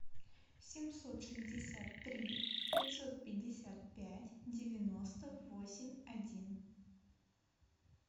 семьсот шестьдесят три пятьсот пятьдесят пять девяносто восемь один